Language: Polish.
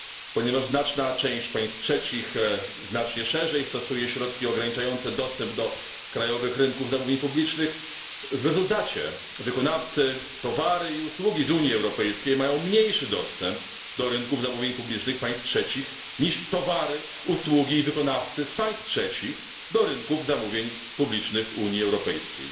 Ponieważ znaczna część państw trzecich szerzej stosuje środki ograniczające dostęp do krajowych rynków zamówień publicznych, w rezultacie wykonawcy, towary i usługi z Unii Europejskiej mają mniejszy dostęp do rynków zamówień publicznych państw trzecich niż towary, usługi i wykonawcy z państw trzecich do rynków zamówień publicznych Unii Europejskiej.